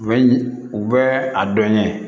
U bɛ u bɛ a dɔn ɲɛ